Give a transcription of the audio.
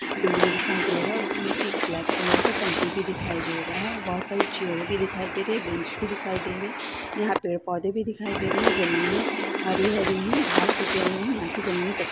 building दिखाई दे रहा उसमें एक ब्लैक कलर का टंकी भी दिखाई दे रहा है बहोत सारी चेयर भी दिखाई दे रही है बेंच भी दिखाई दे रहे यहाँ पेड़-पौधे भी दिखाई दे रही है जमीनें हरी-हरी है घास उगे हुए हैं यहाँ की जमीनें क --